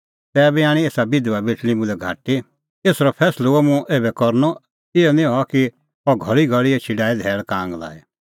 तैबी आणी एसा बिधबा बेटल़ी मुल्है अंतै एसरअ फैंसलअ हुअ मुंह ऐबै करनअ इहअ निं हआ कि अह घल़ीघल़ी एछी डाहे धैल़ कांग लाई